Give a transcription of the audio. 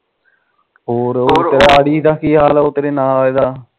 ਹੋਰ ਆੜੀ ਦਾ ਕੀ ਹਾਲ ਉਹ ਤੇਰੇ ਨਾਲ ਆਲੇ ਦਾ